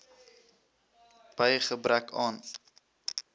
by gebrek aan